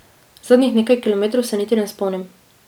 Zadnjih nekaj kilometrov se niti ne spomnim.